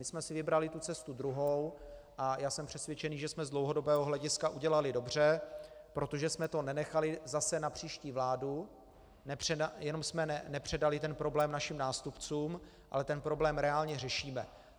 My jsme si vybrali tu cestu druhou a já jsem přesvědčený, že jsme z dlouhodobého hlediska udělali dobře, protože jsme to nenechali zase na příští vládu, jenom jsme nepředali ten problém našim nástupcům, ale ten problém reálně řešíme.